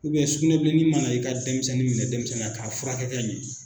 sukunɛbilenin mana i ka denmisɛnnin minɛ denmisɛnya k'a furakɛ ka ɲɛ.